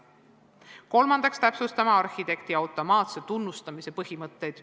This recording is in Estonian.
Kolmandaks, täpsustame arhitekti automaatse tunnustamise põhimõtteid.